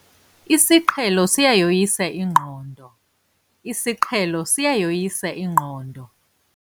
Isiqhelo siyayoyisa ingqondo. isiqhelo siyayoyisa ingqondo